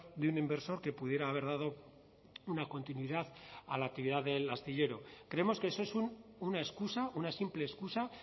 de un inversor que pudiera haber dado una continuidad a la actividad del astillero creemos que eso es una excusa una simple excusa